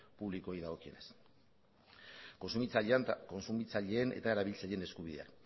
publikoei dagokienez kontsumitzaileen eta erabiltzaileen eskubideak